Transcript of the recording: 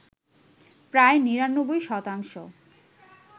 প্রায় ৯৯ শতাংশ